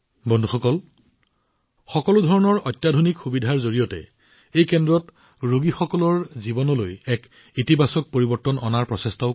বন্ধুসকল সকলো ধৰণৰ হাইটেক সুবিধাৰ জৰিয়তে এই কেন্দ্ৰটোৱে ৰোগীসকলৰ জীৱনলৈ এক ইতিবাচক পৰিৱৰ্তন আনিবলৈ চেষ্টা কৰিছে